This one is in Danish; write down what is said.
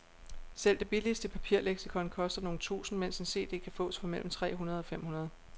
Selv det billigste papirleksikon koster nogle tusinde, mens en cd kan fås for mellem tre hundrede og fem hundrede.